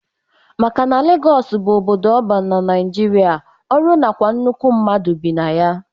Maka na Lagọs bụ obodo ọban na Nigeria, ọrụ nakwa nnukwu mmadụ bi na ya.